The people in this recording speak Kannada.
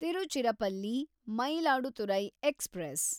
ತಿರುಚಿರಪಲ್ಲಿ ಮಯಿಲಾಡುತುರೈ ಎಕ್ಸ್‌ಪ್ರೆಸ್